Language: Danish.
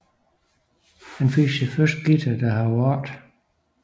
Han fik sin første guitar da han var otte